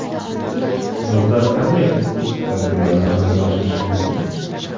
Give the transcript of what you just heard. Yozda qanday kosmetik tadbirlarni amalga oshirish mumkin?.